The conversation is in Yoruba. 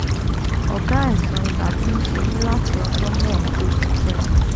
ọ̀gá àìsàn ibà ti ń ṣe mí láti ọjọ́ mẹ́ẹ̀ẹ́dógún sẹ́yìn